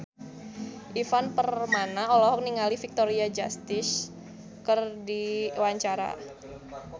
Ivan Permana olohok ningali Victoria Justice keur diwawancara